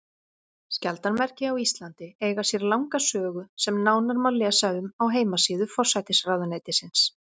Skjaldarmerki á Íslandi eiga sér langa sögu sem nánar má lesa um á heimasíðu forsætisráðuneytisins.